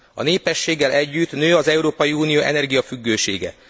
A népességgel együtt nő az Európai Unió energiafüggősége.